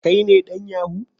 Kai ne dan yahoo?